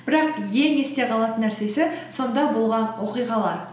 бірақ ең есте қалатын нәрсесі сонда болған оқиғалар